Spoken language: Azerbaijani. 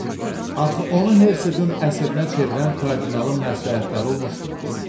Axı onu Hersoqun əsirinə çevirən kardinalın məsləhətləri olmuşdu.